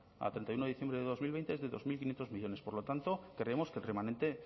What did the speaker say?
a treinta y uno de diciembre de dos mil veinte es de dos mil quinientos millónes por lo tanto creemos que el remanente